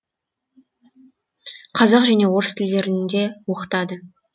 қазақ және орыс тілдерінде оқытады